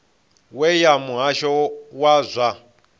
we ya muhasho wa zwa